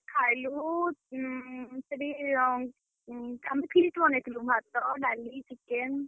ଖାଇଲୁ, ଉଁ ସେଠି ଉଁ. ଉଁ ଆମେ feast ବନେଇଥିଲୁ ଭାତ, ଡାଲି chicken, salad ।